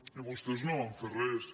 i vostès no van fer res